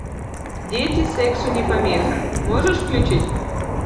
дети сексу не помеха можешь включить